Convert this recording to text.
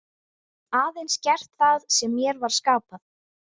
Aðeins gert það sem mér var skapað.